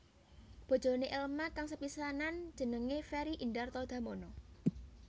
Bojoné Elma kang sepisanan jenenge Ferry Indarto Damono